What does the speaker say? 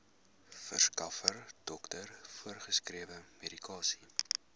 verskaffer dokter voorgeskrewemedikasie